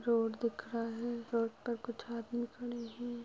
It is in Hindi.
रोड दिख रहा है। रोड पर कुछ आदमी खड़े हैं।